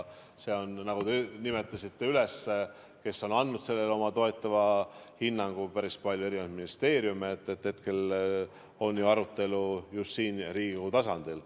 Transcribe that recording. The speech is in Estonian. Te nimetasite neid, kes on andnud sellele oma toetava hinnangu, päris palju ministeeriume, ja hetkel on ju arutelu just siin Riigikogu tasandil.